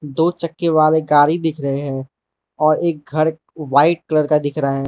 दो चक्के वाले गाड़ी दिख रहे हैं और एक घर व्हाइट कलर का दिख रहा है।